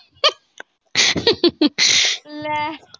ਲੈ।